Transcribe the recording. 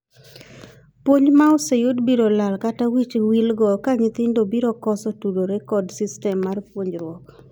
Puonj ma oseyud biro lal kata wich wil go ka nyithindo biro koso tudore kod system mar puonjruok.